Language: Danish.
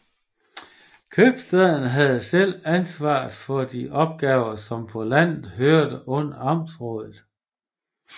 Købstaden havde selv ansvaret for de opgaver som på landet hørte under amtsrådet